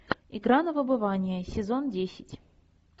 игра на выбывание сезон десять